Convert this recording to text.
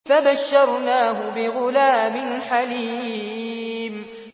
فَبَشَّرْنَاهُ بِغُلَامٍ حَلِيمٍ